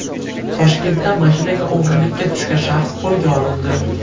Toshkentda mashinaga o‘g‘rilikka tushgan shaxs qo‘lga olindi.